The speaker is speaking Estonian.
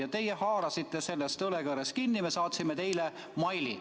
Ja teie haarasite sellest õlekõrrest kinni, et me saatsime teile meili.